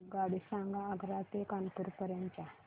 मला आगगाडी सांगा आग्रा ते कानपुर पर्यंत च्या